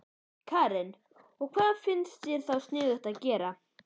Karen: Og hvað finnst þér þá sniðugt að gera?